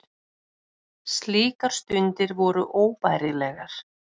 Slíkar stundir voru óbærilegar.